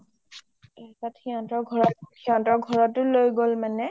অ সিহতৰ ঘৰতও লৈ গ’ল মানে